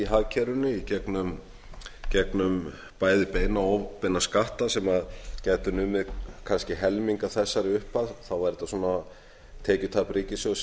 hagkerfinu í gegnum bæði beina og óbeina skatta sem gætu numið kannski helming af þessari upphæð þá er tekjutap ríkissjóðs